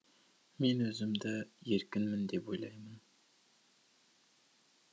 мен өзімді еркінмін деп ойлаймын